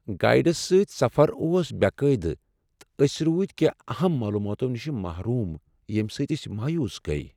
Guides سۭتۍسفر اوس بے قاعدٕہ، تہٕ أسۍ روٗدۍ کینٛہہ اہم معلوماتو نش محروم ییمِہ سۭتۍ أسۍ مایوس گٔیۍ۔